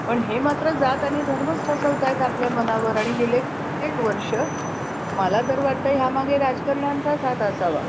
पण हे मात्र जात आणि धर्मच ठसवत आहेत आपल्या मनावर आणि गेले कित्येक वर्ष मला तर वाटतय ह्या मागे राजकारण्यांचाच हात असावा.